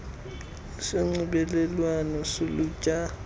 sikhundla sonxibelelwano solutsha